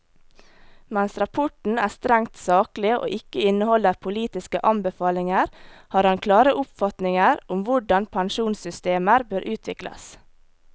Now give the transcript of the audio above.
Mens rapporten er strengt saklig og ikke inneholder politiske anbefalinger, har han klare oppfatninger om hvordan pensjonssystemer bør utvikles.